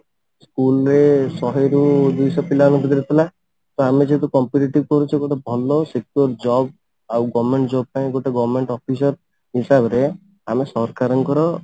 school ରେ ଶହେ ରୁ ଦୁଇଶହ ପିଲାଙ୍କ ଭିତରେ ଥିଲା ତ ଆମେ ଯେହେତୁ competitive କରୁଛେ ତ ଗୋଟେ ଭଲ sector job ଆଉ government job ପାଇଁ ଗୋଟେ government officer ହିସାବରେ ଆମେ ସରକାରଙ୍କର